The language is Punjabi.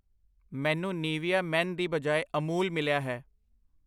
ਮੈਨੂੰ ਨੀਵੀਆ ਮੈਨ ਦੀ ਬਜਾਏ ਅਮੂਲ ਮਿਲਿਆ ਹੈ I